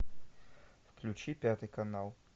включи пятый канал